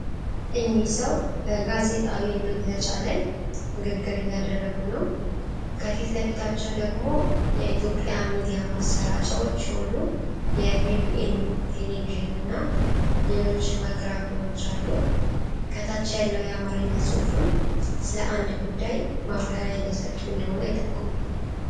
እኚህ ሰው በጋዜጣዊ መግለጫ ላይ ንግግር እያደረጉ ነው፤ ከፊት ለፊታቸው ደግሞ የኢትዮጵያ ሚዲያ ማሰራጫዎች የሆኑ የቢቢኤን ቴሌቪዥን እና ሌሎች ማይክሮፎኖች አሉ። ከታች ያለው የአማርኛ ጽሑፍም ስለ አንድ ጉዳይ ማብራሪያ እየሰጡ እንደሆነ ይጠቁማል።